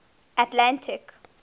atlantic